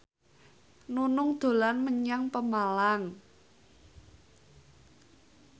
Nunung dolan menyang Pemalang